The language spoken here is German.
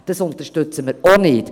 Dies unterstützen auch wir nicht.